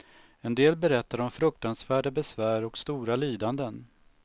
En del berättar om fruktansvärda besvär och stora lidanden.